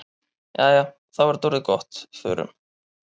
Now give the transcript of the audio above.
Jæja, þá er þetta orðið gott. Förum.